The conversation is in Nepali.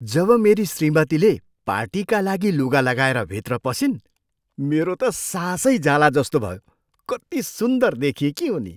जब मेरी श्रीमतीले पार्टीका लागि लुगा लगाएर भित्र पसिन्, मेरो त सासै जालाजस्तो भयो। कति सुन्दर देखिएकी उनी!